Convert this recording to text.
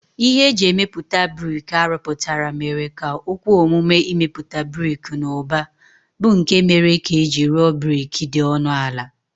Ihe e ji emepụta brik a rụpụtara mere ka o kwe omume imepụta brik n'ụba, bụ́ nke mere ka e ji rụọ brik dị ọnụ ala